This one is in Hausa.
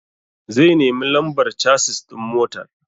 Zai nemi lambar casis ɗin motar.